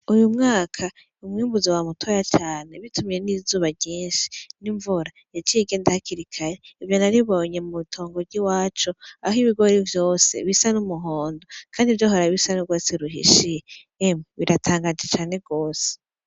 Uyu mwaka umwiyumbuzi wa mutoya cane bitumiye n'izuba ryinshi n'imvura yacigendahakirikare ivyo naribonye mu tongo ry'iwaco aho ibigori vyose bisa n'umuhondo, kandi ivyo horabisa n'urwasi ruhishiye emu biratangaje cane rwose.